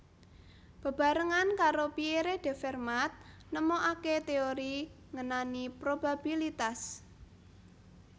Bebarengan karo Pierre de Fermat nemokaké téori ngenani probabilitas